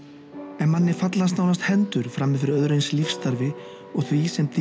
en manni fallast nánast hendur frammi fyrir öðru eins lífsstarfi og því sem